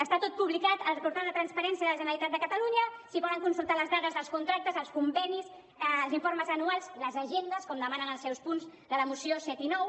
està tot publicat al portal de transparència de la generalitat de catalunya s’hi poden consultar les dades els contractes els convenis els informes anuals les agendes com demanen en els seus punts de la moció set i nou